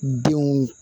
Denw